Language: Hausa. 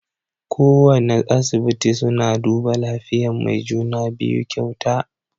Kowana asibiti suna duba lafiyan mai juna-biyu kyauta.